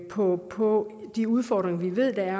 på på de udfordringer vi ved der er